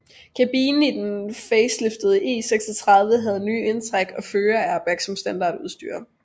Kabinen i den faceliftede E36 havde nyt indtræk og førerairbag som standardudstyr